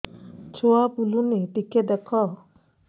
ଛୁଆ ବୁଲୁନି ଟିକେ ଦେଖ